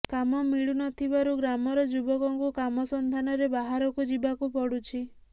କାମ ମିଳୁନଥିବାରୁ ଗ୍ରାମର ଯୁବକଙ୍କୁ କାମ ସନ୍ଧାନରେ ବାହାରକୁ ଯିବାକୁ ପଡୁଛି